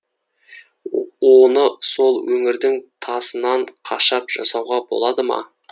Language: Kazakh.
оны сол өңірдің тасынан қашап жасауға болмады ма